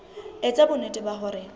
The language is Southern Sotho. e etsa bonnete ba hore